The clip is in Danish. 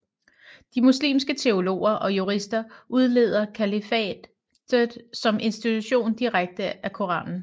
De muslimske teologer og jurister udleder kalifatet som institution direkte af Koranen